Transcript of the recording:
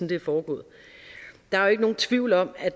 det er foregået der er ikke nogen tvivl om at